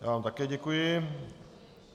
Já vám také děkuji.